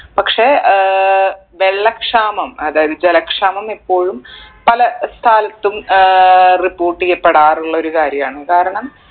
പക്ഷെ ഏർ വെള്ള ക്ഷാമം അതായത് ജല ക്ഷാമം ഇപ്പോഴും പല സ്ഥലത്തും ഏർ report എയ്യപ്പെടാറുള്ള ഒരു കാര്യാണ് കാരണം